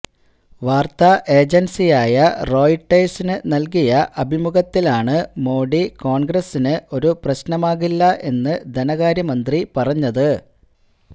വാര്ത്താ ഏജന്സിയായ റോയിട്ടേഴ്സിന് നല്കിയ അഭിമുഖത്തിലാണ് മോഡി കോണ്ഗ്രസിന് ഒരു പ്രശ്നമാകില്ല എന്ന് ധനകാര്യ മന്ത്രി പറഞ്ഞത്